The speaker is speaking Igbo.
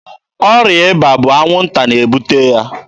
Ọrịa ịba bụ anwụnta na-ebute ya.